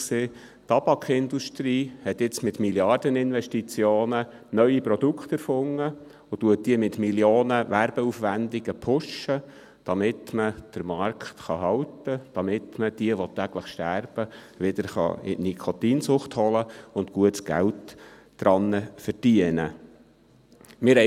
Die Tabakindustrie hat jetzt mit Milliardeninvestitionen neue Produkte erfunden und pusht diese mit Millionen an Werbeaufwendungen, damit man den Markt halten kann, damit man jene, welche täglich sterben, wieder in die Nikotinsucht holen und gutes Geld an ihnen verdienen kann.